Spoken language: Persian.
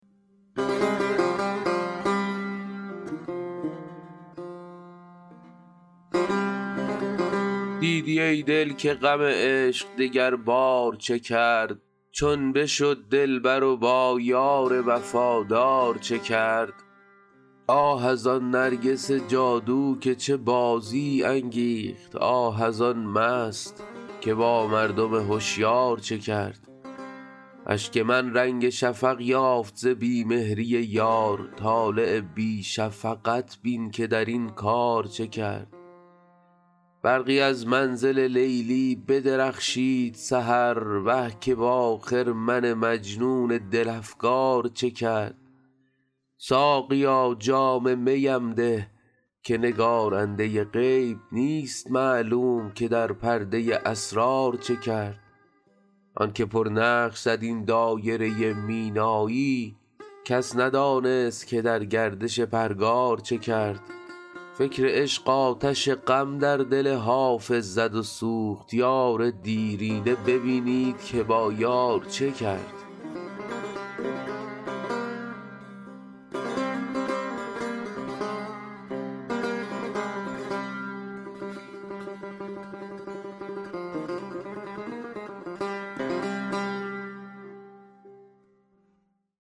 دیدی ای دل که غم عشق دگربار چه کرد چون بشد دلبر و با یار وفادار چه کرد آه از آن نرگس جادو که چه بازی انگیخت آه از آن مست که با مردم هشیار چه کرد اشک من رنگ شفق یافت ز بی مهری یار طالع بی شفقت بین که در این کار چه کرد برقی از منزل لیلی بدرخشید سحر وه که با خرمن مجنون دل افگار چه کرد ساقیا جام می ام ده که نگارنده غیب نیست معلوم که در پرده اسرار چه کرد آن که پرنقش زد این دایره مینایی کس ندانست که در گردش پرگار چه کرد فکر عشق آتش غم در دل حافظ زد و سوخت یار دیرینه ببینید که با یار چه کرد